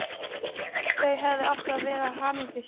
Þau hefðu átt að vera hamingjusöm.